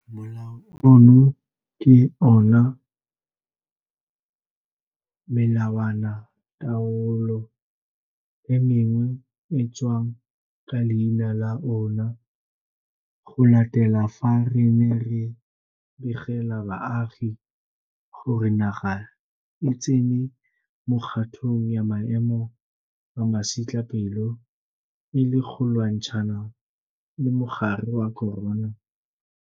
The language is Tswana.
Molao ono ke ona o melawanataolo e mengwe e tswang ka leina la ona go latela fa re ne re begela baagi gore naga e tsene mo kgatong ya maemo a masetlapelo e le go lwantshana le mogare wa corona.